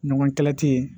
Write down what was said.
Ɲɔgɔn kɛlɛ tɛ yen